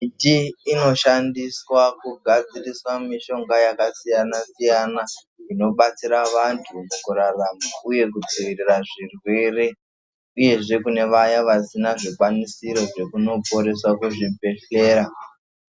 Miti inoshandiswa kugadzirisa mishonga yakasiyana siyana inobatsira vantu mukurarama uye mukudzivirira zvirwere uyezve kune Vaya vasina zvikwanisiro zvekunoporeswa kuzvibhedhlera.